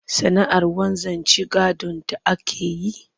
Sana'ar wanzanci gadonta ake yi